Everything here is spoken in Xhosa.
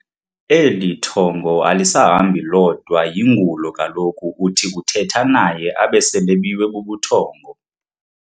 Eli thongo alisahambi lodwa yingulo kaloku uthi uthetha naye abe selebiwe bubuthongo.